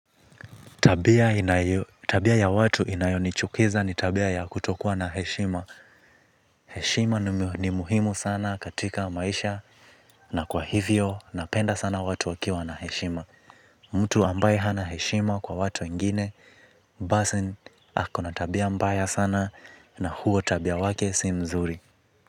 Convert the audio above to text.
Tabia ya watu inayonichukiza ni tabia ya kutokuwa na heshima. Heshima ni muhimu sana katika maisha. Na kwa hivyo napenda sana watu wakiwa na heshima. Mtu ambaye hana heshima kwa watu wengine basi ako na tabia mbaya sana na huo tabia wake si mzuri.